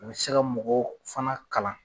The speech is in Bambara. U bɛ se ka mɔgɔw fana kalan